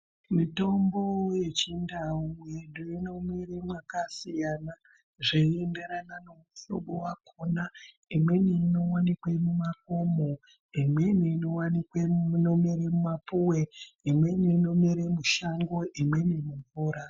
Mitombo yechindau yedu inomere mwaka siyana zveiinderena nomuhlobo wakona imweni inowanikwe mumakomo imweni nowanikwa inomerera mumapuwe imweni inomera mushango imweni mumvura.